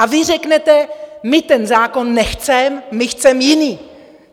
A vy řeknete: My ten zákon nechceme, my chceme jiný!